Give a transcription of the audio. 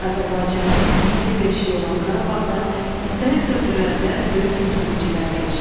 Azərbaycanın musiqi beşiyi olan Qarabağda müxtəlif dövrlərdə böyük musiqiçilər yetişib.